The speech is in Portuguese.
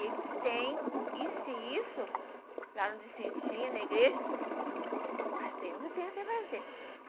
Eles têm, e se isso, lá no Vicentinha, na igreja, pastor, eu não tenho o que fazer.